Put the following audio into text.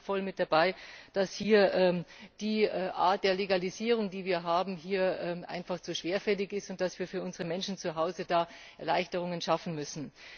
Da bin ich voll mit dabei, dass die Art der Legalisierung, die wir haben, einfach zu schwerfällig ist und dass wir für unsere Menschen zuhause da Erleichterungen schaffen müssen.